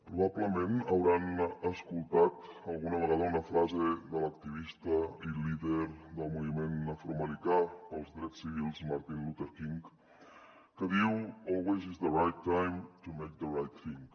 probablement deuen haver escoltat alguna vegada una frase de l’activista i líder del moviment afroamericà pels drets civils martin luther king que diu always is the right time to make the right thing